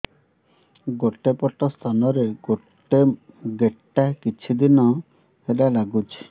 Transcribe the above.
ଗୋଟେ ପଟ ସ୍ତନ ରେ ଗୋଟେ ଗେଟା କିଛି ଦିନ ହେଲା ଲାଗୁଛି